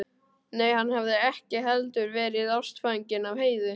Nei, hann hafði ekki heldur verið ástfanginn af Heiðu.